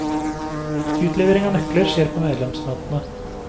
Utlevering av nøkler skjer på medlemsmøtene.